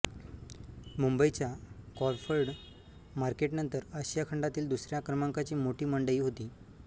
मुंबईच्या क्रॉफर्ड मार्केटनंतर आशिया खंडातील दुसऱ्या क्रमांकाची मोठी मंडई होती